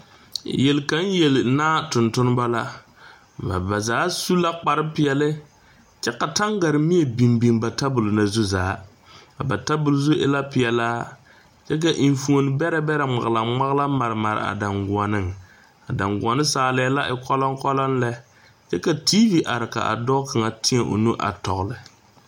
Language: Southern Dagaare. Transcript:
Yeli kaŋ yeli naa tonneba la, ba zaa su la kparre pɛɛle kyɛ ka tangarre mie biŋ biŋ ba tabol zu zaa a ba tabol zu e la e pelaa enfuomo beɛre ŋmalaŋ ŋmalaŋ mare mare a dangɔnne, a dangɔnne saalɛɛ la e koloŋ koloŋ lɛ kyɛ ka TV are ka dɔɔ kaŋa teɛ o nu a tɔgeli.